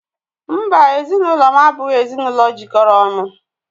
Mbá, ezinụlọ m abụghị ezinụlọ jikọrọ ọnụ.